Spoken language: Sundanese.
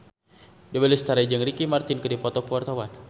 Dewi Lestari jeung Ricky Martin keur dipoto ku wartawan